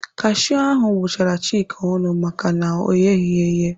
Kashiu ahụ gbụchara Chika ọnụ maka na ọ gheghị eghe.